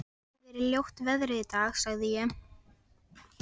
Það hefir verið ljóta veðrið í dag- sagði ég.